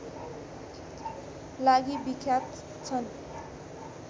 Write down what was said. लागि विख्यात छन्